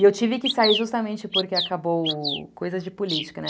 E eu tive que sair justamente porque acabou... Coisas de política, né?